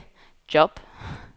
job